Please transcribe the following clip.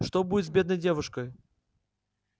что будет с бедной девушкою